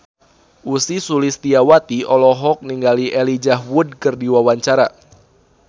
Ussy Sulistyawati olohok ningali Elijah Wood keur diwawancara